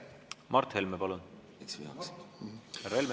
Mart Helme, palun!